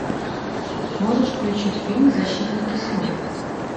можешь включить фильм защитники снов